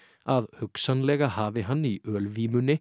að hugsanlega hafi hann í